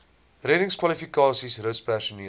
reddingskwalifikasies rus personeel